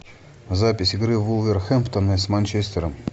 запись игры вулверхэмптона с манчестером